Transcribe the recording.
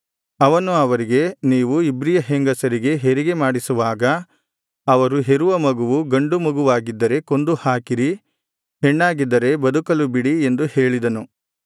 ಅವನು ಅವರಿಗೆ ನೀವು ಇಬ್ರಿಯ ಹೆಂಗಸರಿಗೆ ಹೆರಿಗೆ ಮಾಡಿಸುವಾಗ ಅವರು ಹೆರುವ ಮಗುವು ಗಂಡು ಮಗುವಾಗಿದ್ದರೆ ಕೊಂದುಹಾಕಿರಿ ಹೆಣ್ಣಾಗಿದ್ದರೆ ಬದುಕಲು ಬಿಡಿ ಎಂದು ಹೇಳಿದನು